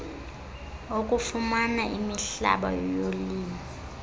okufumana imihlaba yolimo